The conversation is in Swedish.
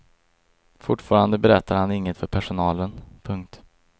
Fortfarande berättade han inget för personalen. punkt